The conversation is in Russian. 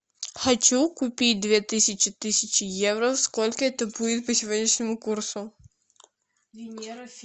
хочу купить две тысячи тысячи евро сколько это будет по сегодняшнему курсу